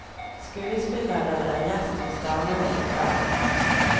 Skuespilleren er gjest hos damene i kveld.